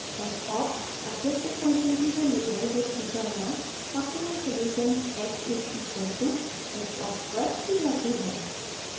fopt objective function की value है जिसकी गणना optimum solution x is equal to xopt पर की जाती है